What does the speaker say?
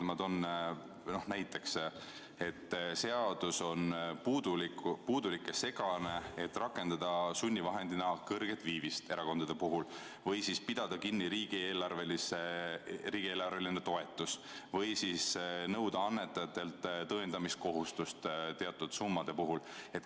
Ma toon näiteks, et seadus on puudulik ja segane, et rakendada sunnivahendi näol kõrget viivist erakondade puhul või siis pidada kinni riigieelarveline toetus või nõuda annetajatelt tõendamiskohustust teatud summade puhul.